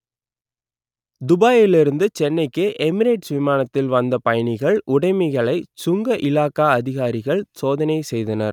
துபாயில் இருந்து சென்னைக்கு எமிரேட்ஸ் விமானத்தில் வந்த பயணிகளின் உடமைகளை சுங்க இலாகா அதிகாரிகள் சோதனை செய்தனர்